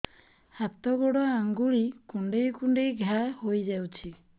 ହାତ ଗୋଡ଼ ଆଂଗୁଳି କୁଂଡେଇ କୁଂଡେଇ ଘାଆ ହୋଇଯାଉଛି